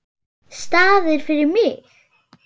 Staðir fyrir mig.